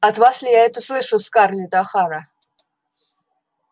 от вас ли я это слышу скарлетт охара